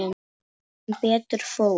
Sem betur fór.